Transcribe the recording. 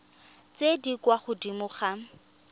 tse di kwa godimo ga